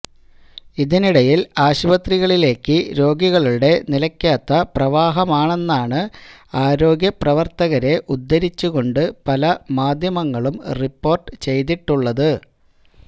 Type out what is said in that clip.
ഇതിനിടയിൽ ആശുപത്രികളിലേക്ക് രോഗികളുടെ നിലയ്ക്കാത്ത പ്രവാാഹമാണെന്നാണ് ആരോഗ്യപ്രവർത്തകരെ ഉദ്ദരിച്ചുകൊണ്ട് പല മാധ്യമങ്ങളും റിപ്പോർട്ട് ചെയ്തിട്ടുള്ളത്